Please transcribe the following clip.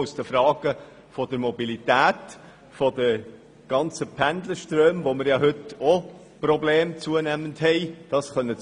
Auch die Pendlerströme bereiten uns zunehmend Probleme.